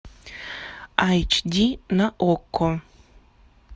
айч ди на окко